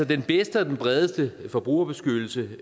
den bedste og den bredeste forbrugerbeskyttelse